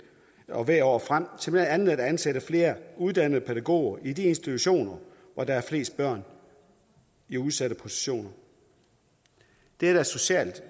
og hvert år frem til blandt andet at ansætte flere uddannede pædagoger i de institutioner hvor der er flest børn i udsatte positioner det er da socialt så